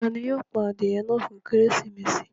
Tani yóò pà adiẹ̀ náà fún Kérésímesì?